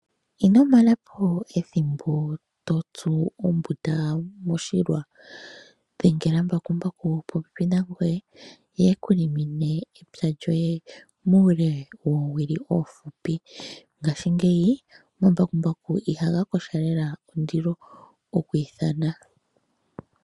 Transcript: Ino mana po ethimbo to tsu ombunda moshilwa. Dhengela mbakumbaku e li popepi nangoye ye e ku limine epya lyoye muule wethimbo efupi. Ngaashingeyi omambakumbaku ihaga kotha lela ondilo oku ithana.